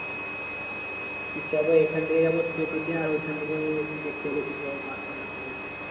কি যাবো এখান থেকে যাব টোটোতে আর ওখান থেকে দেখতে হবে কিসে যাব bus এ না কি টোটোতে